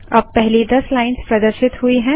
अब पहली दस लाइन्स प्रदर्शित हुई हैं